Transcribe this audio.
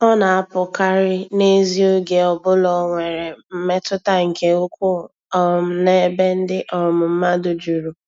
Ọ na-apụkarị n'ezi oge ọ bụla o nwere mmetụta nke ukwuu um n'ebe ndị um mmadụ juru.